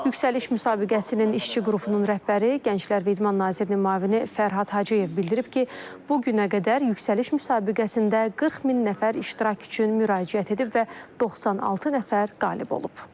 Yüksəliş müsabiqəsinin işçi qrupunun rəhbəri, Gənclər və İdman nazirinin müavini Fərhad Hacıyev bildirib ki, bu günə qədər yüksəliş müsabiqəsində 40 min nəfər iştirak üçün müraciət edib və 96 nəfər qalib olub.